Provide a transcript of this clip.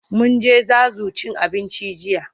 Mun je Zazu cin abinci jiya.